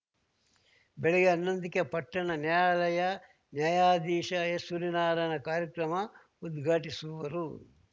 ಬೆಳಗ್ಗೆ ಹನ್ನೊಂದಕ್ಕೆ ಪಟ್ಟಣ ನ್ಯಾಯಾಲಯ ನ್ಯಾಯಾಧೀಶ ಎಸ್‌ಸೂರ್ಯನಾರಾಯಣ ಕಾರ್ಯಕ್ರಮ ಉದ್ಘಾಟಿಸುವರು